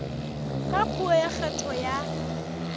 ka puo ya kgetho ya